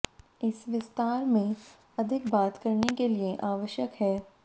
इस विस्तार में अधिक बात करने के लिए आवश्यक है